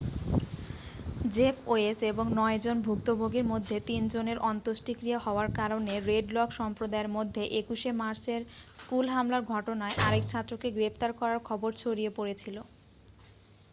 Jeff Weise এবং নয়জন ভুক্তভোগীর মধ্যে তিনজনের অন্ত্যেষ্টিক্রিয়া হওয়ার কারণে রেড লেক সম্প্রদায়ের মধ্যে 21'শে মার্চের স্কুল হামলার ঘটনায় আরেক ছাত্রকে গ্রেপ্তার করার খবর ছড়িয়ে পড়েছিল।